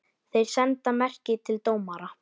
Þeir senda merki til dómara.